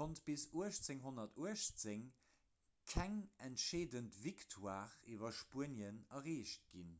konnt bis 1818 keng entscheedend victoire iwwer spuenien erreecht ginn